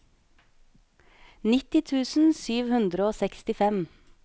nitti tusen sju hundre og sekstifem